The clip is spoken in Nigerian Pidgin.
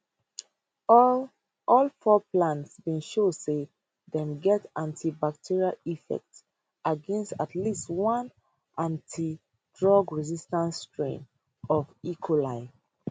all all four plants bin show say dem get antibacterial effects against at least one multi drug resistant strain of e coli